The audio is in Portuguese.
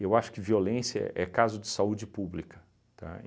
Eu acho que violência é caso de saúde pública, tá?